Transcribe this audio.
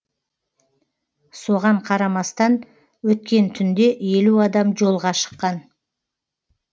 соған қарамастан өткен түнде елу адам жолға шыққан